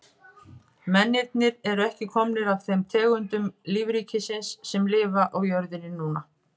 Mennirnir eru ekki komnir af þeim tegundum lífríkisins sem lifa á jörðinni núna.